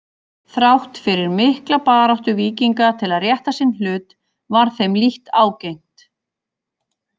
Þrátt fyrir mikla baráttu Víkinga til að rétta sinn hlut varð þeim lítt ágengt.